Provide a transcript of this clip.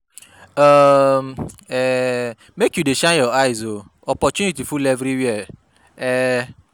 [um Make you dey shine your eyes um opportunity full everywhere.